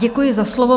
Děkuji za slovo.